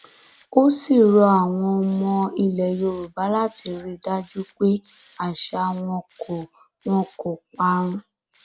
ó sì rọ àwọn ọmọ ilẹ yorùbá láti rí i dájú pé àṣà wọn kò wọn kò parun